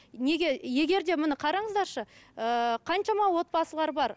неге егер де міне қараңыздаршы ыыы қаншама отбасылар бар